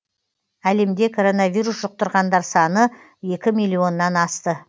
әлемде коронавирус жұқтырғандар саны екі миллионнан асты